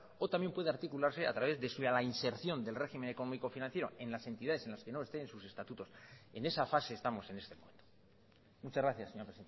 o también pude articularse a través de la inserción del régimen económico financiero en las entidades en las que no lo estén en sus estatutos en esa fase estamos en este momento muchas gracias señora